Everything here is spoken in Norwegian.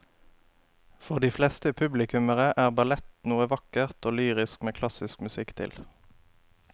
For de fleste publikummere er ballett noe vakkert og lyrisk med klassisk musikk til.